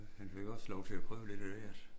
Han fik også lov til at prøve lidt af hvert